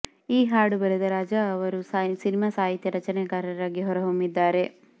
ಈ ಹಾಡು ಬರೆದ ರಾಜ ಅವರು ಸಿನಿಮಾ ಸಾಹಿತ್ಯ ರಚನೆಕಾರರಾಗಿ ಹೊರ ಹೊಮ್ಮಿದ್ದಾರೆ